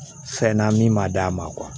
Fɛn na min ma d'a ma